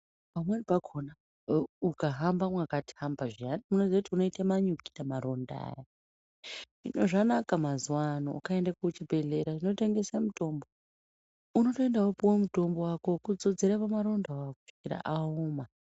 Pamweni pakona ee ukahamba mwakatamba zviyani anditi unoziye kuti unoite manyikita maronda hino zvanaka mazuwa ano ukaenda kuzvibhedhlera zvinotengesa mutombo unotoenda wopuwa mutombo wako wekudzodzera pamarondawo awawo kusvikira aoma.